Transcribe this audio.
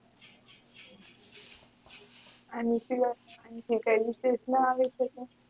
કય રીત ના આવી શકે